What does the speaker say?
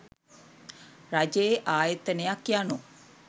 රජයේ ආයතනයක් යනු